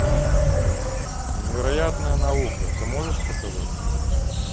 невероятная наука ты можешь показать